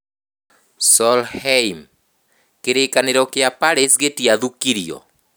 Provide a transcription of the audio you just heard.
Solheim: Kĩrĩkanĩro kĩa Paris gĩtiathũkirio